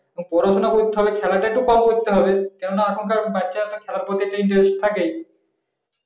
পড়াশোনা করতে হবে খেলাটা একটু কম করতে হবে। কেননা এখনকার বাচ্চাদের খেলার প্রতি একটা interest থাকে